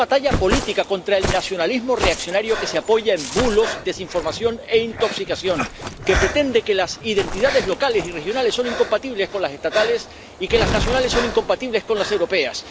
Hay una batalla política contra el nacionalismo reaccionario que se apoya en bulos, desinformación e intoxicación, que pretende que las identidades locales y regionales son incompatibles con las estatales y que las nacionales son incompatibles con las europeas.